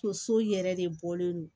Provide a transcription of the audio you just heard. Tonso yɛrɛ de bɔlen don